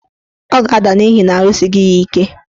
Ọ ga-ada n'ihi na arụsighi ya ike.